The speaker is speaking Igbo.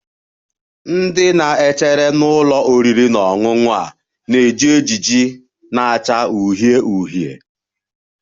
Ndị na-echere n'ụlọ oriri na ọṅụṅụ a na-eji ejiji na-acha uhie uhie